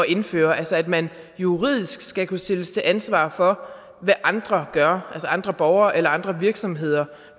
indføre altså at man juridisk skal kunne stilles til ansvar for hvad andre gør altså andre borgere eller andre virksomheder